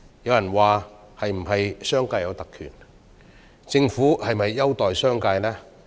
有人質疑，商界是否有特權？政府有否優待商界？